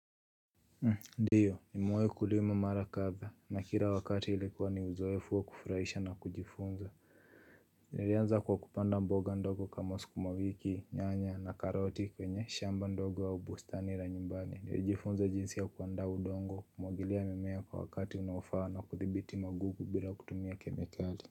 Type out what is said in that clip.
Ndiyo ni muwe kulima mara katha na kila wakati ilikuwa ni uzoefua kufurahisha na kujifunza ilianza kwa kupanda mboga ndogo kama sukuma wiki nyanya na karoti kwenye shamba ndogo wa ubustani la nyumbani niwejifunza jinsi ya kuanda udongo kumogilia mimea kwa wakati unawafaa na kuthibiti magugu bila kutumia kemikali. Kwa hivyo.